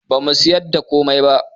Bamu siyar da komai ba